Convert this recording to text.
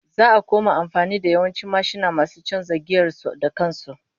Za'a koma amfani da yawancin mashina masu chanza giyar su da kan su